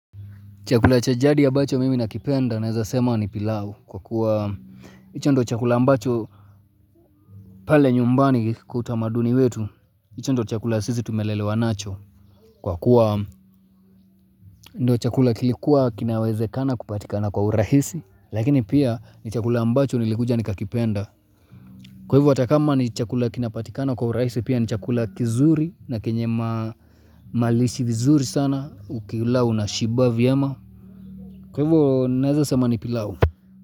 Chakula cha jadi ambacho mimi nakipenda naweza sema ni pilau kwa kuwa hicho ndio chakula ambacho pale nyumbani kwa utamaduni wetu hicho ndio chakula sisi tumelelewa nacho Kwa kuwa ndio chakula kilikuwa kinawezekana kupatikana kwa urahisi Lakini pia ni chakula ambacho nilikuja ni kakipenda Kwa hivo ata kama ni chakula kinapatikana kwa urahisi pia ni chakula kizuri na kenye malishi vizuri sana ukila unashiba vyema Kwa hivo naweza sema ni pilau.